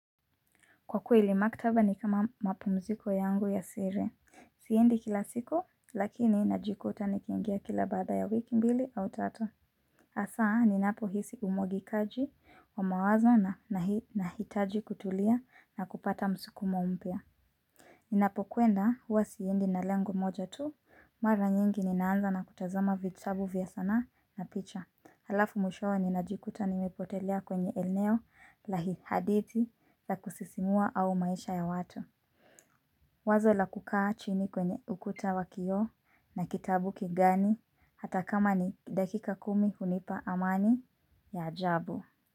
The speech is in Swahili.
Kwa kweli maktaba ni kama mapumziko yangu ya siri. Siendi kila siku, lakini najikuta nikiingia kila baada ya wiki mbili au tatu. Hasaa, ninapo hisi umwagikaji wa mawazo na nahitaji kutulia na kupata msukumo mpya. Ninapo kwenda, huwa siendi na lengo moja tu, mara nyingi ninaanza na kutazama vitabu vya sanaa na picha. Halafu mwishowe ninajikuta nimepotelea kwenye eneo la hadithi la kusisimua au maisha ya watu. Wazo la kukaa chini kwenye ukuta wakioo na kitabu kigani hata kama ni dakika kumi hunipa amani ya ajabu.